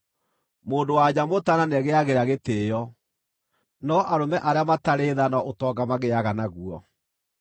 Mũndũ-wa-nja mũtaana nĩegĩagĩra gĩtĩĩo, no arũme arĩa matarĩ tha no ũtonga magĩaga naguo.